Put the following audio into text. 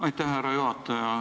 Aitäh, härra juhataja!